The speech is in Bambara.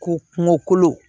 Ko kungo kolo